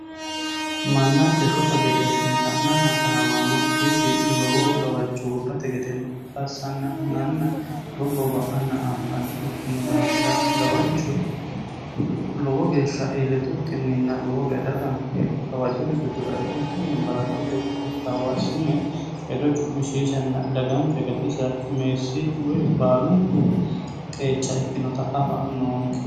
mannanke shota gede assine la'nanna taraawanno dhibbi lowo gawajo gobbate gedeno assanna hunanna dobbobba'anna anfanni ikkinu daafira gawajjo lowo geeshsha iillitukkinninna lowo geesha daganke gawajjote giddudae ukkinni balaxote qittaawu assine hedo cu'mishiishanna daganke gatisa meessi woy baalunku qeecha ikkinota afa noonke